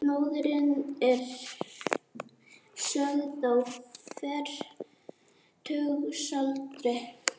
Móðirin er sögð á fertugsaldri